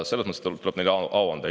Selles mõttes tuleb neile au anda.